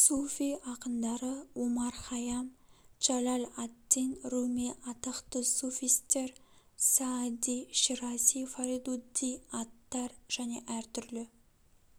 суфи ақындары омар хайам джалаль ад-дин руми атақты суфистер саади ширази фаридудди аттар және әр түрлі